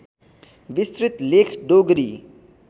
विस्तृत लेख डोगरी